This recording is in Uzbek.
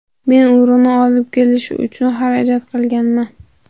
Men urug‘ni olib kelish uchun xarajat qilganman.